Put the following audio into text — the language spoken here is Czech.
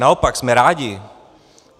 Naopak jsme rádi.